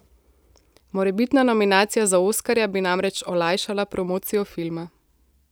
Morebitna nominacija za oskarja bi namreč olajšala promocijo filma.